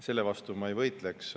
Selle vastu ma ei võitleks.